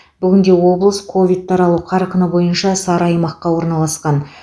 бүгінде облыс ковид таралу қарқыны бойынша сары аймаққа орналасқан